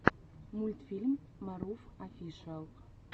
мультфильм марув офишиал